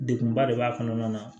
Degunba de b'a kɔnɔna na